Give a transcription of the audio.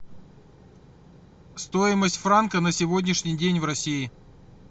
стоимость франка на сегодняшний день в россии